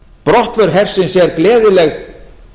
brottför hersins er gleðileg